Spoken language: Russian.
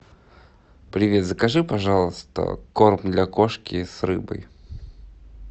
привет закажи пожалуйста корм для кошки с рыбой